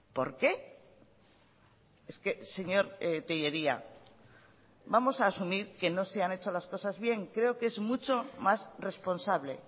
por qué es que señor tellería vamos a asumir que no se han hecho las cosas bien creo que es mucho más responsable